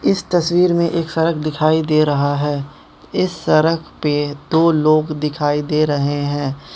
इस तस्वीर में एक सड़क दिखाई दे रहा है इस सड़क पे दो लोग दिखाई दे रहे हैं।